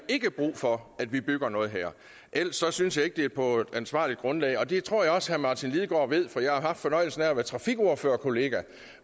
brug for at vi bygger noget her ellers synes jeg ikke at det er på et ansvarligt grundlag det tror jeg også at herre martin lidegaard ved for jeg har haft fornøjelsen af at være trafikordførerkollega